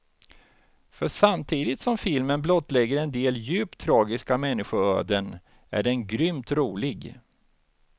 För samtidigt som filmen blottlägger en del djupt tragiska människoöden är den grymt rolig.